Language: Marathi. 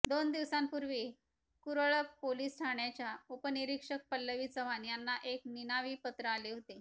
दोन दिवसांपूर्वी कुरळप पोलीस ठाण्याच्या उपनिरीक्षक पल्लवी चव्हाण यांना एक निनावी पत्र आले होतेे